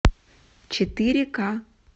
четыре ка